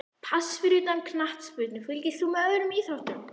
Pass Fyrir utan knattspyrnu, fylgist þú með öðrum íþróttum?